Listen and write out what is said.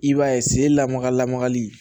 I b'a ye sen lamaga lamagali